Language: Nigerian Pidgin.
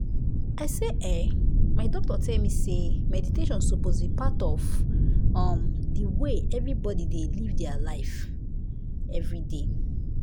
i say eeh my doctor tell me say meditation suppose be part of um de way everbody dey live dia life everyday.